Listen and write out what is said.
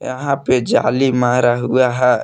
यहां पे जाली मारा हुआ है।